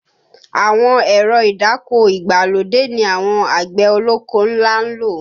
Àwọn èrọ ìdáko ìgbàlódé ni àwọn àgbẹ̀ ọlọ́kọ́ ńlá ń lò